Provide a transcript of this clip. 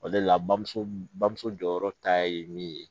O le la bamuso bamuso jɔyɔrɔ ta ye min ye